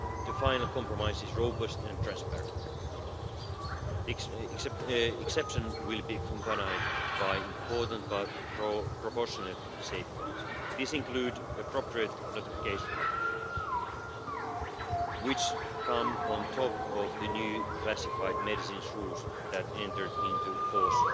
The final compromise is robust and transparent. Exceptions will be accompanied by important but proportionate safeguards. These include appropriate notification rules which come on top of the new classified medicines rules that entered into